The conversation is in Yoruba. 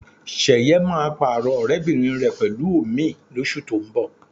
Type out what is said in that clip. Ṣẹ̀yẹ máa pààrọ̀ ọ̀rẹ́bìnrin rẹ̀ pẹ̀lú òmíì lóṣù tó ń bọ̀